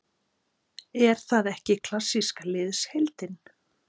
Er það ekki klassíska liðsheildin?